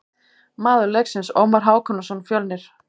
Maður leiksins: Ómar Hákonarson, Fjölnir.